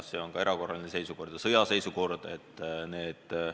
Kas see on ka erakorraline seisukord ja sõjaseisukord?